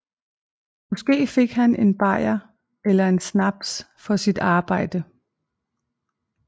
Måske fik han en bajer eller en snaps for sit arbejde